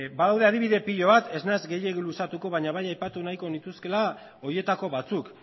badaude adibide pilo bat ez naiz gehiegi luzatuko baina bai aipatu nahiko nituzkeela horietako batzuk